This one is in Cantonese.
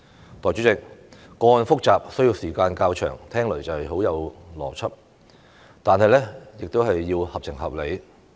代理主席，個案複雜需時較長，聽起來很有邏輯，但亦要合情合理。